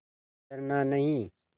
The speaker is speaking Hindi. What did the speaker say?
डरना नहीं